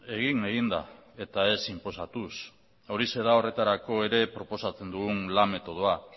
egin egin da eta ez inposatuz horixe da horretarako ere proposatzen dugun lan metodoa